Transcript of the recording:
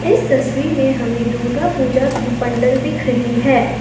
इस तस्वीर में हमें दुर्गा पूजा की पंडल दिख रही है।